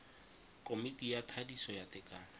komiti ya thadiso ya tekano